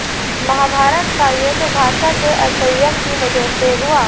महाभारत का युद्ध भाषा के असंयम की वजह से हुआ